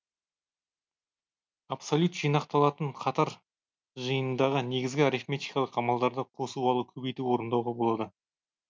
абсолют жинақталатын қатар жиынындағы негізгі арифметикалық амалдарды қосу алу көбейту орындауға болады